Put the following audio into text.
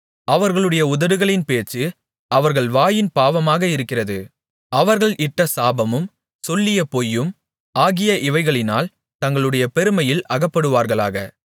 அவர்களுடைய உதடுகளின் பேச்சு அவர்கள் வாயின் பாவமாக இருக்கிறது அவர்கள் இட்ட சாபமும் சொல்லிய பொய்யும் ஆகிய இவைகளினால் தங்களுடைய பெருமையில் அகப்படுவார்களாக